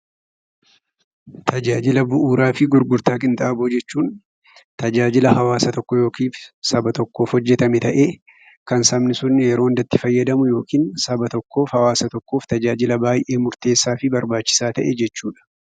Tajaajila bu'uuraa fi gurgurtaa qinxaaboo jechuun tajaajila hawaasa tokko (saba tokkoof) hojjetame ta'ee, kan sabni sun yeroo hunda itti fayyadamu yookiin saba tokkoof, hawaasa tokkoof, tajaajila baay'ee murteessaa fi barbaachisaa ta'e jechuu dha.